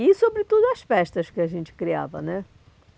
E, sobretudo, as festas que a gente criava, né?